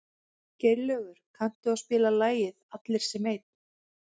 Geirlaugur, kanntu að spila lagið „Allir sem einn“?